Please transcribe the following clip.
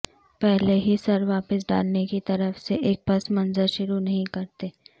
پہلے ہی سر واپس ڈالنے کی طرف سے ایک پس منظر شروع نہیں کرتے